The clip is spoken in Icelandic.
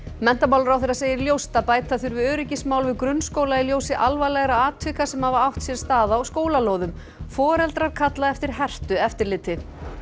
menntamálaráðherra segir ljóst að bæta þurfi öryggismál við grunnskóla í ljósi alvarlegra atvika sem hafa átt sér stað á skólalóðum foreldrar kalla eftir hertu eftirliti